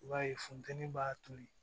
I b'a ye funteni b'a toli